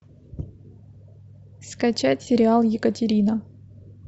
скачать сериал екатерина